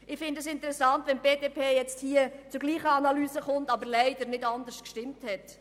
Ich finde es interessant, wenn die BDP jetzt zur selben Analyse kommt, obwohl sie leider nicht anders gestimmt hat.